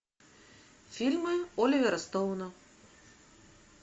фильмы оливера стоуна